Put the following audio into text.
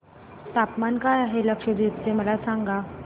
तापमान काय आहे लक्षद्वीप चे मला सांगा